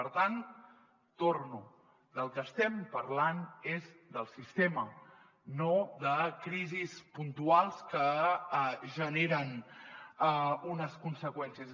per tant hi torno del que estem parlant és del sistema no de crisis puntuals que generen unes conseqüències